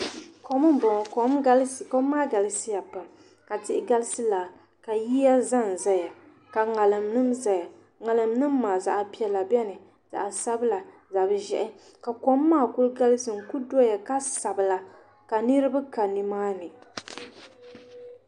Kom n boŋo kom maa galisiya pam ka tihi galisi laa ka yiya ʒɛnʒɛya ka ŋarim nim biɛni ŋarim maa zaɣ piɛla biɛni zaɣ sabila zaɣ ʒiɛhi ka kom maa ku galisi n ku diya ka sabila ka niraba ka nimaa ni